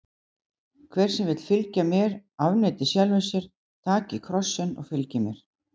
Hver sem vill fylgja mér, afneiti sjálfum sér, taki kross sinn og fylgi mér.